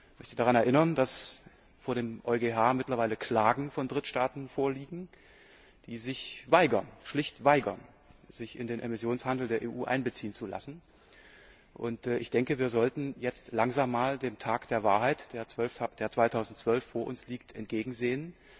Ich möchte daran erinnern, dass dem EuGH mittlerweile Klagen von Drittstaaten vorliegen, die sich schlicht weigern, sich in den Emissionshandel der EU einbeziehen zu lassen. Wir sollten jetzt langsam einmal dem Tag der Wahrheit, der 2012 vor uns liegt, entgegensehen.